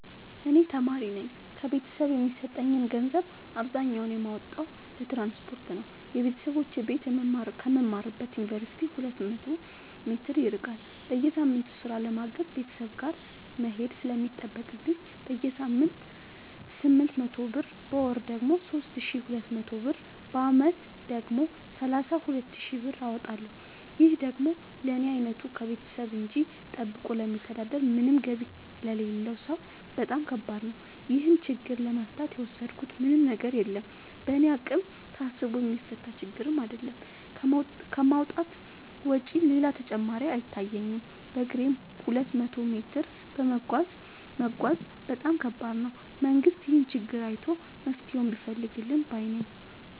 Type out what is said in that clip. እኔ ተማሪነኝ ከቤተሰብ የሚሰጠኝን ገንዘብ አብዛኛውን የማወጣው ለትራንስፖርት ነው የበተሰቦቼ ቤት ከምማርበት ዮንቨርሲቲ ሁለት መቶ ሜትር ይርቃል። በየሳምቱ ስራ ለማገዝ ቤተሰብ ጋር መሄድ ስለሚጠቅብኝ በሳምንት ስምንት መቶ ብር በወር ደግሞ ሶስት ሺ ሁለት መቶ ብር በአመት ደግሞ ሰላሳ ሁለት ሺ ብር አወጣለሁ ይህ ደግሞ ለኔ አይነቱ ከቤተሰብ እጂ ጠብቆ ለሚተዳደር ምንም ገቢ ለሌለው ሰው በጣም ከባድ ነው። ይህን ችግር ለመፍታት የወሰድኩት ምንም ነገር የለም በእኔ አቅም ታስቦ የሚፈታ ችግርም አይደለም ከማውጣት ውጪ ሌላ አማራጭ አይታየኝም በግሬም ሁለት መቶ ሜትር መጓዝ በጣም ከባድ ነው። መንግስት ይህንን ችግር አይቶ መፍትሔ ቢፈልግልን ባይነኝ።